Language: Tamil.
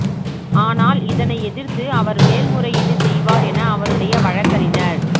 ஆனால் இதனை எதிர்த்து அவர் மேல்முறையீடு செய்வார் என அவருடைய வழக்கறிஞர்